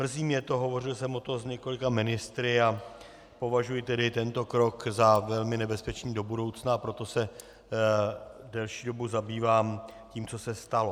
Mrzí mě to, hovořil jsem o tom s několika ministry a považuji tedy tento krok za velmi nebezpečný do budoucna, a proto se delší dobu zabývám tím, co se stalo.